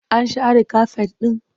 An share kafet ɗin?